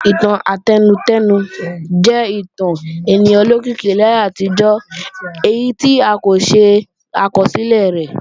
Ìtàn átẹnudẹ́nu jẹ́ ìtàn ènìyàn olókìkí láyé àtijọ́ èyí tí a kò ṣe àkọsílẹ̀ rẹ̀